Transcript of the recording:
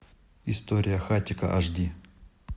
история хатико аш ди